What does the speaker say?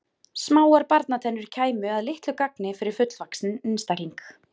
smáar barnatennur kæmu að litlu gagni fyrir fullvaxinn einstakling